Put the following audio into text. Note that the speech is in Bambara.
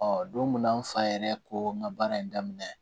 Ɔ don min na n fa yɛrɛ ko n ka baara in daminɛ